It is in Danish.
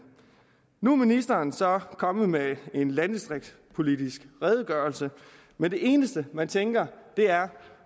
nu er ministeren så kommet med en landdistriktspolitisk redegørelse men det eneste man tænker er